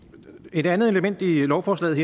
et andet element i lovforslaget